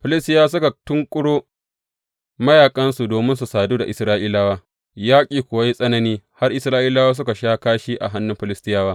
Filistiyawa suka tunƙuro mayaƙansu domin su sadu da Isra’ilawa, yaƙi kuwa ya yi tsanani har Isra’ilawa suka sha kashi a hannun Filistiyawa.